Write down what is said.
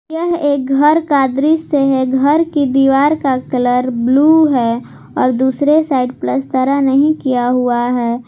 यह एक घर का दृश्य है घर की दीवार का कलर ब्लू है और दूसरे साइड पलस्तरा नहीं किया हुआ है।